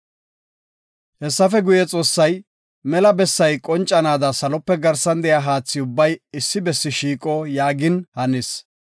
Hessafe guye, Xoossay, “Mela bessay qoncanaada Salope garsan de7iya haathi ubbay issi bessi shiiqo” yaagin hanis.